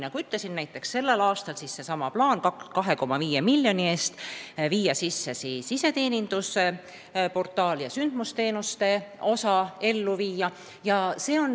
Nagu ma ütlesin, näiteks tänavu on plaan 2,5 miljoni eest panna tööle iseteenindusportaal ja sündmusteenuste osa käivitada.